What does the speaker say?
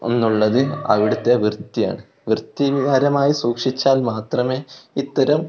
ഒന്നുള്ളത് അവിടത്തെ വൃത്തിയാണ് വൃത്തികരമായി സൂക്ഷിച്ചാൽ മാത്രമേ ഇത്തരം--